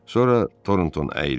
Sonra Torontoun əyildi.